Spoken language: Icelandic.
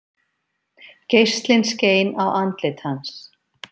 Geislinn skein á andlit hans.